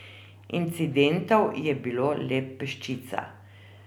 Incidentov je bilo le peščica.